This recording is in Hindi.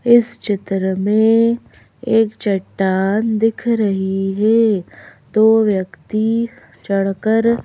इस चित्र में एक चट्टान दिख रही है दो व्यक्ति चढ़कर--